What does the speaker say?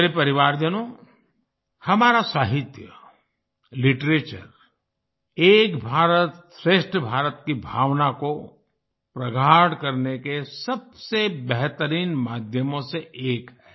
मेरे परिवारजनों हमारा साहित्य लिटरेचर एक भारतश्रेष्ठ भारत की भावना को प्रगाढ़ करने के सबसे बेहतरीन माध्यमों में से एक है